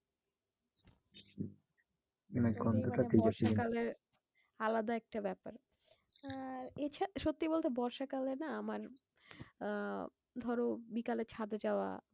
বর্ষা কালে আলাদা একটা ব্যাপার। আর এছাড়া সত্যি বলতে বর্ষা কালে না? আমার আহ ধরো বিকাল এ ছাদে যাওয়া,